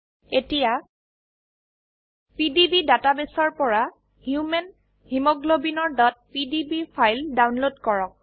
এতিয়া পিডিবি ডাটাবেসৰ পৰা হিউম্যান হিমোগ্লোবিনৰ pdb ফাইল ডাউনলোড কৰক